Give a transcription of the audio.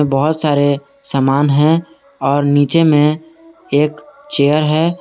बहुत सारे सामान हैं और नीचे में एक चेयर है।